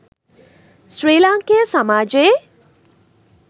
ශ්‍රී ලාංකේය සමාජයේ